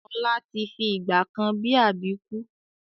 Ọlá tí fi ìgbàkan bi Àbíkú